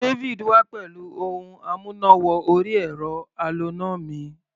David wá pẹ̀lú ohun amúná-wọ-orí-ẹ̀rọ aloná mi